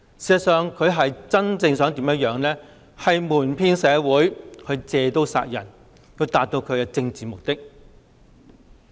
事實上，她真正是想瞞騙社會，借刀殺人以達到其政治目的。